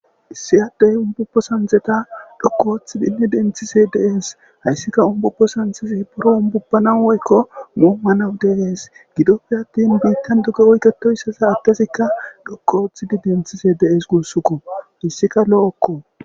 issi addey umbubbo sandeta dhokkooththidinne denthise de7es hayssika umbubbo sanzesi buro umbubbana woykko muommanaw deees gidoppe attin biittan duge woyketoyssa saattesikka dhokkooththidi denthise dees guussukko hayssika lo7okko